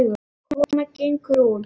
Konan gengur út.